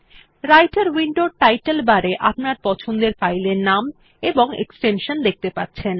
রাইটের উইন্ডোর title bar এ আপনার পছন্দের ফাইল এর নাম এবং এক্সটেনশন দেখতে পাচ্ছেন